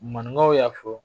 Maninkaw y'a fɔ